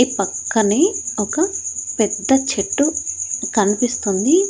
ఈ పక్కనే ఒక పెద్ద చెట్టు కనిపిస్తుంది.